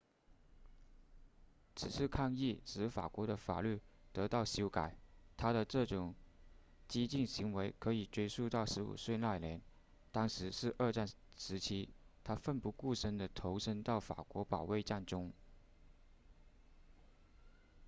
此次抗议使法国的法律得到修改他的这种激进行为可以追溯到15岁那年当时是二战时期他奋不顾身地投身到法国保卫战中